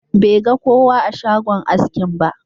Bai ga kowa a shogan askin ba.